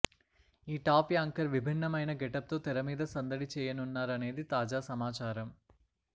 ఈ top anchor విభిన్నమైన గెటప్తో తెర మీద సందడి చేయనున్నారనేది తాజా సమాచారం